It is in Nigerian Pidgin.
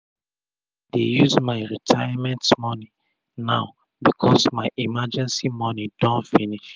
i dey use my retirement moni now becos my emergency moni don finish